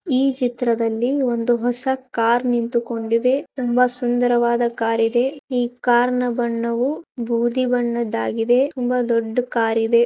ಈ ಚಿತ್ರದಲ್ಲಿ ಒಂದು ಹೊಸ ಕಾರು ನಿಂತುಕೊಂಡಿದೆ ತುಂಬಾ ಸುಂದರವಾದ ಕಾರು ಇದೆ. ಈ ಕಾರಿನ ಬಣ್ಣವು ಬೂದಿ ಬಣ್ಣವಾಗಿದೆ ತುಂಬಾ ದೊಡ್ಡ ಕಾರಿದೆ.